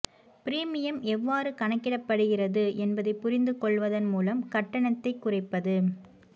premium எவ்வாறு கணக்கிடப்படுகிறது என்பதை புரிந்து கொள்வதன் மூலம் கட்டணத்தை குறைப்பது